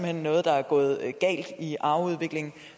er noget der er gået galt i arveudviklingen